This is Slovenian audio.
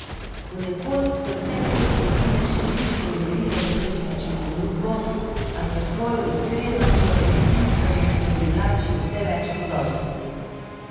Ponekod se vse te vsebine še niso prelevile v turistično ponudbo, a s svojo iskrenostjo in edinstvenostjo privlačijo vse več pozornosti.